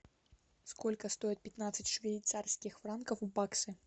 сколько стоит пятнадцать швейцарских франков в баксы